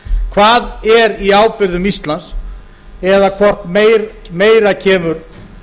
hvað er í ábyrgðum íslands eða hvort meira kemur